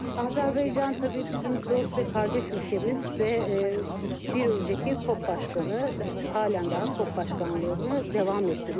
Azerbaycan tabii bizim dost ve kardeş ülkemiz ve bir önceki COP başkanı halan daha COP başkanlığını devam ettiriyor.